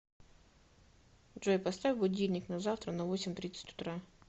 джой поставь будильник на завтра на восемь тридцать утра